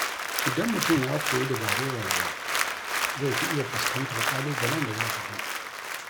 Idan mutum ya koyi dabarun rayuwa, zai fi iya fuskantar ƙalubalen da za su zo.